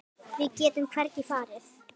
Við getum hvergi farið.